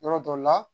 Yɔrɔ dɔ la